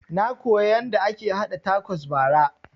Na koya yanda ake haɗa takos bara